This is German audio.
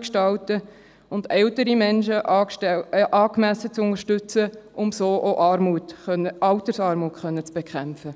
gestalten können, und ältere Menschen angemessen zu unterstützen, um so auch Altersarmut bekämpfen zu können.